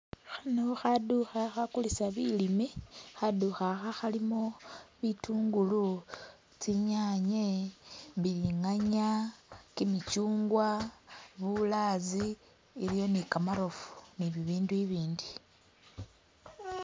Khano khaduuka khagulisa bilime khaduuka kha khalimo bitungulu, tsinyanye, bilinganya, gimichungwa, bulazi iliyo ni gamarofu ni bibindu ibindi.